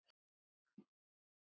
Og það upp úr skónum!